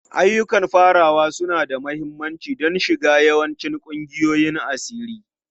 Ayyukan farawa suna da mahimmanci don shiga yawancin ƙungiyoyin asiri.